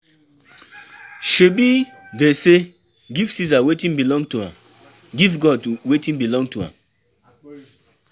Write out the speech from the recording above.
Shebi dey say give Ceasar wetin belong to am, give God wetin belong to am.